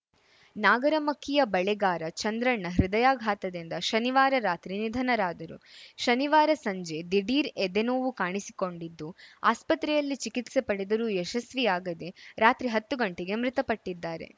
ನಾಗರಮಕ್ಕಿಯ ಬಳೆಗಾರ ಚಂದ್ರಣ್ಣ ಹೃದಯಾಘಾತದಿಂದ ಶನಿವಾರ ರಾತ್ರಿ ನಿಧನರಾದರು ಶನಿವಾರ ಸಂಜೆ ದಿಢೀರ್‌ ಎದೆ ನೋವು ಕಾಣಿಸಿಕೊಂಡಿದ್ದು ಆಸ್ಪತ್ರೆಯಲ್ಲಿ ಚಿಕಿತ್ಸೆ ಪಡೆದರೂ ಯಶಸ್ವಿಯಾಗದೆ ರಾತ್ರಿ ಹತ್ತು ಗಂಟೆಗೆ ಮೃತಪಟ್ಟಿದ್ದಾರೆ